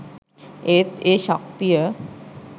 ඒත් ඒ ශක්තිය